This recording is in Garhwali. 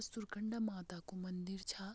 सुरकंडा माता कू मंदिर छा।